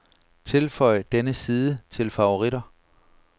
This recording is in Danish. Tilføj denne side til favoritter.